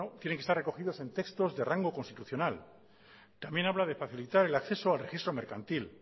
tienen que estar recogidos en textos de rango constitucional también habla de facilitar el acceso al registro mercantil